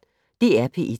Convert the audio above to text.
DR P1